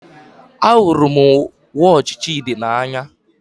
Ahụrụ m wọọchi Chidi n'anya